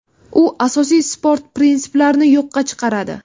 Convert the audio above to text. U asosiy sport prinsiplarini yo‘qqa chiqaradi.